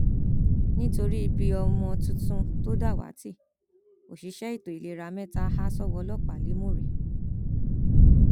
nítorí ibi ọmọ tuntun tó dàwátì òṣìṣẹ ètò ìlera mẹta há sọwọ ọlọpàá lẹmúrẹ